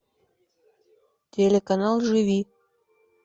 телеканал живи